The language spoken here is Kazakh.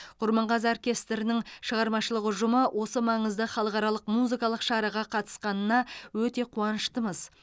құрманғазы оркестрінің шығармашылық ұжымы осы маңызды халықаралық музыкалық шараға қатысқанына өте қуаныштымыз